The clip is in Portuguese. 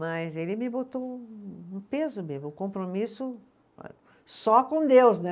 Mas ele me botou um um peso mesmo, um compromisso eh, só com Deus, né?